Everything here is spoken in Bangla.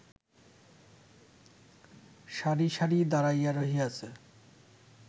সারি সারি দাঁড়াইয়া রহিয়াছে